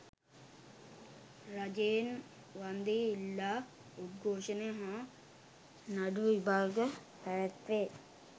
රජයෙන් වන්දි ඉල්ලා උද්ඝෝෂණ හා නඩුවිභාග පැවැත් වේ